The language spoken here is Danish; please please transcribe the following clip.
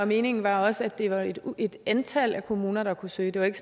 meningen var også at det var et antal kommuner der kunne søge det var ikke